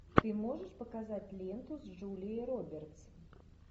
ты можешь показать ленту с джулией робертс